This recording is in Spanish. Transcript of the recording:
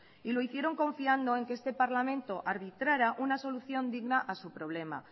y lo hicieron confiando en que este parlamento arbitrara una solución digna a su problema